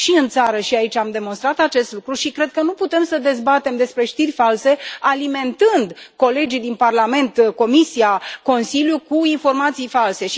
Și în țară și aici am demonstrat acest lucru și cred că nu putem să dezbatem despre știri false alimentând colegii din Parlament, Comisia, Consiliul cu informații false.